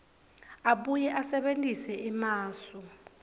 abuye asebentise emasu